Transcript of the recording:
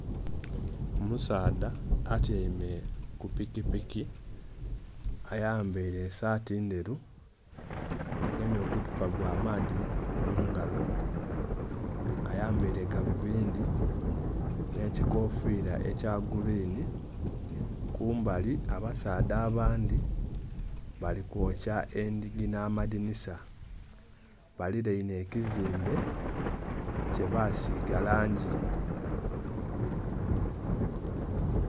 Omusaadha atyaime ku pikipiki, ayambaile esaati ndheru, agemye oguthupa gw'amaadhi mu ngalo. Ayambaile galubindi nh'ekikofiira ekya gurwini. Kumbali abasaadha abandhi bali kwokya endhigi nh'amadhinisa. Balilainhe ekizimbe kyebasiiga langi.